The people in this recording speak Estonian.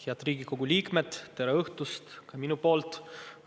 Head Riigikogu liikmed, tere õhtust!